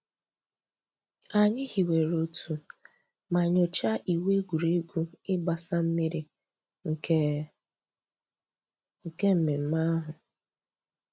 Ànyị̀ hìwèrè òtù mà nyòchàá ìwù ègwè́ré́gwụ̀ ị̀gbàsa mmìrì nke nke mmẹ̀mmẹ̀ àhụ̀.